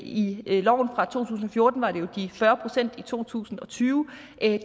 i loven fra to tusind og fjorten var det jo de fyrre procent i to tusind og tyve